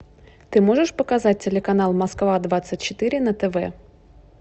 ты можешь показать телеканал москва двадцать четыре на тв